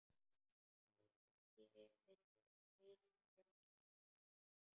Alþingi vísar umsókn Gerðar frá.